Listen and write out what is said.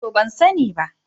To, ban sani ba.